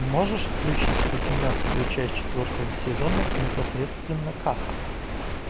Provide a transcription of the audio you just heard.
можешь включить восемнадцатую часть четвертого сезона непосредственно каха